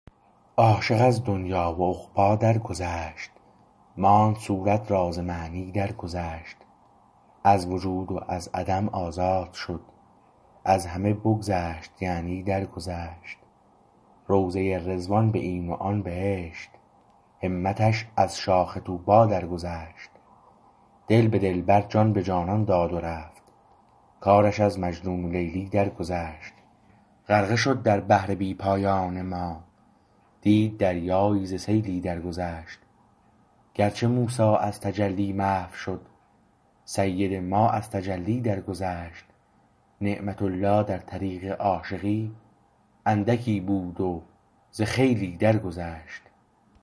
عاشق از دنیی و عقبی درگذشت ماند صورت راز معنی درگذشت از وجود و از عدم آزاد شد از همه بگذشت یعنی درگذشت روضه رضوان به این و آن بهشت همتش از شاخ طوبی درگذشت دل به دلبر جان به جانان داد و رفت کارش از مجنون و لیلی درگذشت غرقه شد در بحر بی پایان ما دید دریایی ز سیلی درگذشت گرچه موسی از تجلی محو شد سید ما از تجلی درگذشت نعمت الله در طریق عاشقی اندکی بود و ز خیلی درگذشت